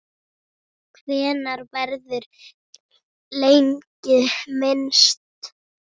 Hennar verður lengi minnst.